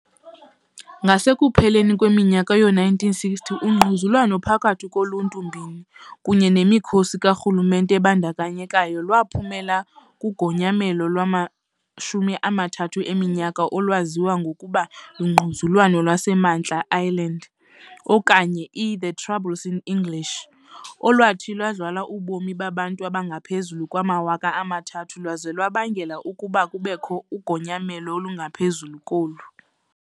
Ngasekupheleni kweminyaka yoo-1960, ungquzulwano phakathi koluntu mbini kunye nemikhosi karhulumente ebandakanyekayo lwaphumela kugonyamelo lwamashumi amathathu eminyaka olwaziwa ngokuba lungquzulwano lwaseMantla eIreland, okanye "iThe Troubles" in English , olwathi lwadla ubomi babantu abangaphezu kwamawaka amathathu lwaza lwabangela ukuba kubekho ugonyamelo olungaphezu kolu.